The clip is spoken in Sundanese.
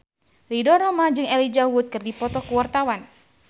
Ridho Roma jeung Elijah Wood keur dipoto ku wartawan